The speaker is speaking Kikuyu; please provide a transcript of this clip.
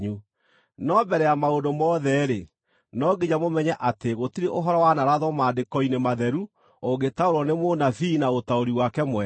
No mbere ya maũndũ mothe-rĩ, no nginya mũmenye atĩ gũtirĩ ũhoro wanarathwo Maandĩko-inĩ Matheru ũngĩtaũrwo nĩ mũnabii na ũtaũri wake mwene.